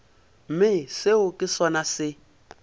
mme seo ke sona se